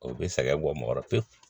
O bɛ sɛgɛn bɔ mɔgɔkɔrɔ pewu